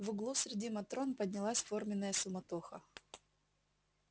в углу среди матрон поднялась форменная суматоха